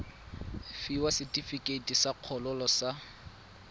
fiwa setefikeiti sa kgololo sa